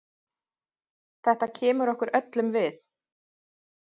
Þetta kemur okkur öllum við.